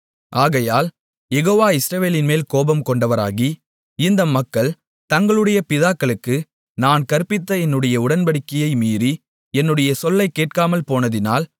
ஆகையால் யெகோவா இஸ்ரவேலின்மேல் கோபம்கொண்டவராகி இந்த மக்கள் தங்களுடைய பிதாக்களுக்கு நான் கற்பித்த என்னுடைய உடன்படிக்கையை மீறி என்னுடைய சொல்லைக் கேட்காமல் போனதினால்